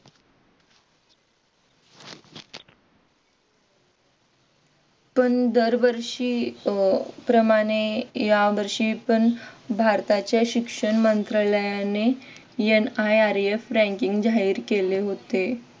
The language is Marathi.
पण दरवर्षी प्रमाणे या वर्षी पण भारताचे शिक्षण मंत्रालयाने NIRF ranking जाहीर केले होते.